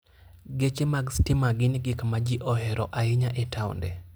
Geche mag stima gin gik ma ji ohero ahinya e taonde.